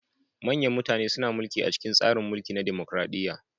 Manyan mutane suna mulki a cikin tsarin mulki na dimukraɗiya.